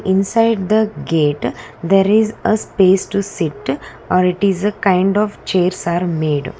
inside the gate there is uh space to sit are it is a kind of chairs are made.